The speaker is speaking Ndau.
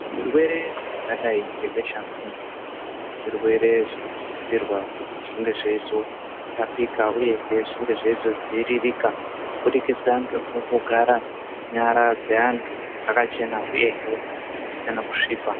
Zvirwere zvakadai ngebesha zvirwere zvinosisirwa kuzi zvinge zveizorapika uyezve zvingezve zveizodziviririka kuburikidza ngekungogara nyara dzeantu dzakachena uyehe dzisina kusvipa.